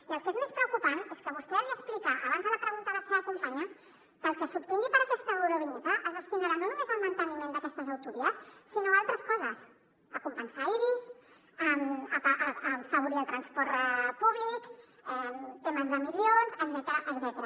i el que és més preocupant és que vostè li explica abans a la pregunta la seva companya que el que s’obtingui per aquesta eurovinyeta es destinarà no només al manteniment d’aquestes autovies sinó a altres coses a compensar ibis a afavorir el transport públic temes d’emissions etcètera